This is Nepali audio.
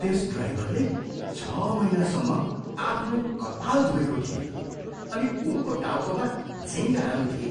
त्यस ड्राइभरले छ महिनासम्म आफ्नो कपाल धुएको थिएन अनि उनको टाउकोमा झिँगाहरू थिए।